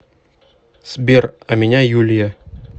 сбер а меня юлия